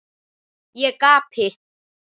Ég gapi.